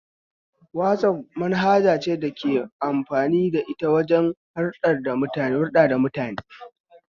Wazaf manhaja ce da ake amfani da ita wajen hulɗa da mutane